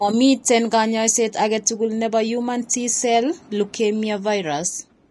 Momiten kanyaiset age tugul nebo human T cell leukemia virus